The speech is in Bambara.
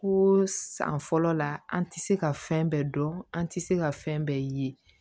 Ko san fɔlɔ la an tɛ se ka fɛn bɛɛ dɔn an tɛ se ka fɛn bɛɛ ye